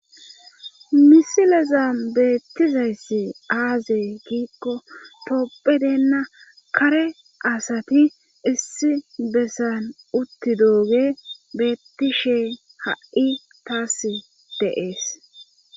misileza beettizayssi aazey giikko toopphedeenna kare asati issi bessan utti dooge beettishe ha7i taas deees